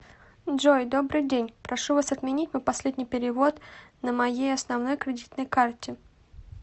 джой добрый день прошу вас отменить мой последний перевод на моей основной кредитной карте